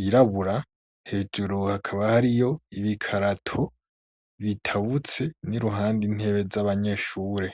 yirabura, hejuru hakaba hariyo ibikarato bitabutse, n'iruhande intebe z'abanyeshure.